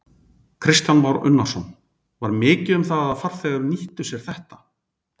Kristján Már Unnarsson: Var mikið um það að farþegar nýttu sér þetta?